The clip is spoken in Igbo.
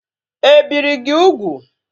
E biri gị ugwu?